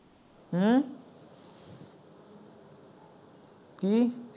ਹਮਮ ਕੀ